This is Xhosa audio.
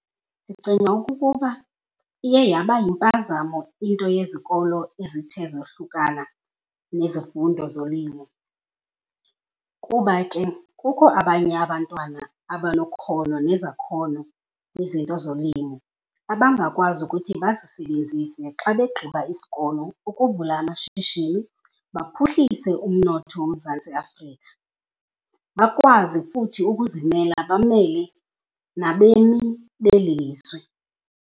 Ndicinga okokuba iye yaba yimpazamo into yezikolo ezithe zohlukana nezifundo zolimo. Kuba ke kukho abanye abantwana abanokhono nezakhono kwizinto zolimo, abangakwazi ukuthi bazisebenzise xa begqiba isikolo ukuvula amashishini baphuhlise umnotho woMzantsi Afrika. Bakwazi futhi ukuzimela bamele nabemi beli lizwe.